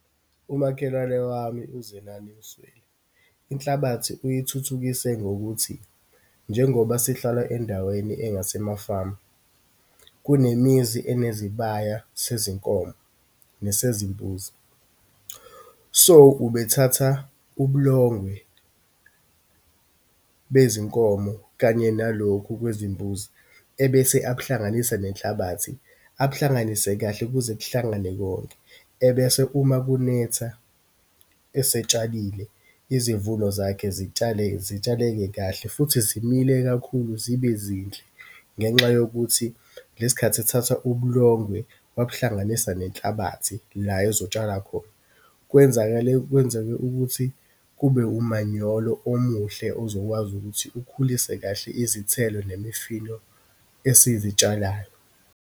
Umakhelwane wami uZenani Msweli, inhlabathi uyithuthukise ngokuthi, njengoba sihlala endaweni engasemafamu, kunemizi enezibaya sezinkonzo nesezimbuzi. So, ubethatha ubulongwe bezinkomo kanye nalokhu kwezimbuzi, ebese akuhlanganisa nenhlabathi, akuhlanganise kahle kuze kuhlangane konke. Ebese uma kunetha esetshalile, izimvuno zakhe zitshale, zitshaleke kahle, futhi zimile kakhulu, zibe zinhle. Ngenxa yokuthi lesikhathi ethatha ubulongwe wabuhlanganisa nenhlabathi, la uzotshala khona, kwenzakale, kwenzeke ukuthi kube umanyolo omuhle, ozokwazi ukuthi ukhulise kahle izithelo nemifino esizitshalayo.